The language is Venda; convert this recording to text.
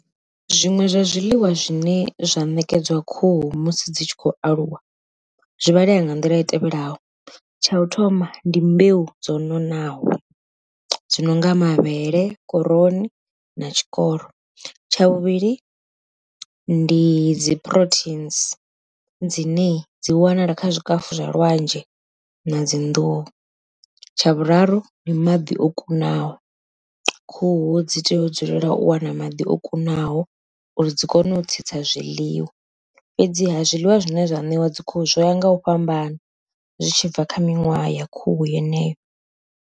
Zwiṅwe zwa zwiḽiwa zwine zwa ṋekedzwa khuhu musi dzi tshi khou aluwa, zwi vhalea nga nḓila i tevhelaho, tsha u thoma ndi mbeu dzo nonaho, zwi no nga mavhele khoroni na tshikoro. Tsha vhuvhili ndi dzi proteins dzine dzi wanala kha zwikafu zwa lwanzhe na dzi nḓuhu, tsha vhuraru ndi maḓi o kunaho khuhu dzi dzi tea u dzulela u wana maḓi o kunaho uri dzi kone u tsitsa zwiḽiwa fhedziha zwiḽiwa zwine zwa ṋewa dzi khuhu zwo ya nga u fhambana, zwi tshi bva kha miṅwaha ya khuhu yeneyo.